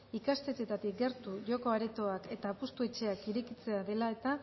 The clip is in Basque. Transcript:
ikastetxeetatik gertu joko aretoak eta apustuetxeak irekitzea dela eta